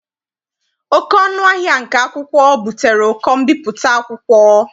Oké ọnụ ahịa nke akwụkwọ butere ụkọ mbipụta akwụkwọ.